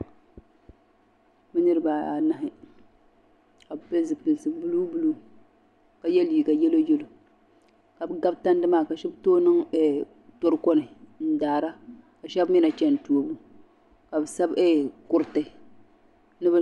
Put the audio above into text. Niriba anahi ka bɛ pili zipilsi buluu buluu ka ye liiga yelo yelo ka bɛ gabi tandi maa ka sheba toogi niŋ toroko ni n daara ka sheba mee na cheni toobu ka bɛ sa kuriti.